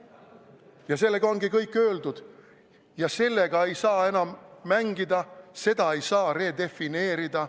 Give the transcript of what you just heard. Ja sellega ongi kõik öeldud ja sellega ei saa enam mängida, seda ei saa redefineerida.